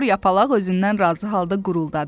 Kor yapalaq özündən razı halda quruldadı.